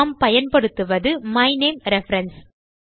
நாம் பயன்படுத்துவது மைனமே ரெஃபரன்ஸ்